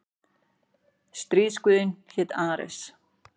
Stríðsguðinn hét Ares.